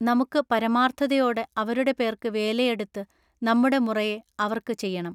നമുക്കു പരമാർത്ഥതയോടെ അവരുടെ പേർക്ക് വേലയെടുത്ത് നമ്മുടെ മുറയെ അവർക്ക് ചെയ്യെണം.